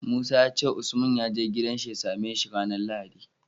Musa yace usman yaje gidan shi ya same shi ranar lahadi